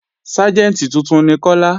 Ságẹ̀ntì tuntun ni Kọ́lá